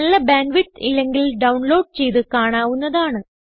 നല്ല bandwidth ഇല്ലെങ്കിൽ download ചെയ്ത് കാണാവുന്നതാണ്